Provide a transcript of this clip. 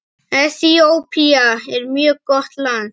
Eþíópía er mjög gott land.